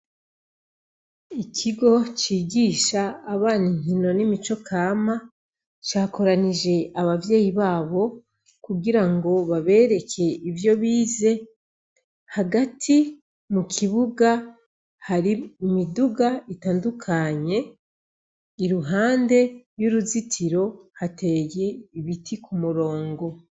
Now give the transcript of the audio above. Ikigo cigisha abana inkino n'imico kama, cakoranije abavyeyi babo, kugirango babereke ivyo bize; hagati mu kibuga, hari imiduga itandukanye, iruhande y'uruzitiro hateye ibiti ku murongo.